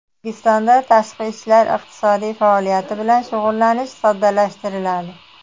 O‘zbekistonda tashqi iqtisodiy faoliyat bilan shug‘ullanish soddalashtiriladi.